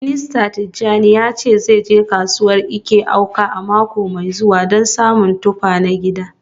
Mista Tijani ya ce zai je kasuwar Eke-Awka a mako mai zuwa don samo tuffa na gida.